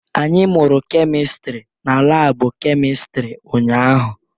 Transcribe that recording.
Anyị mụrụ kemistri n'laabu kemịstri ụnyahụ.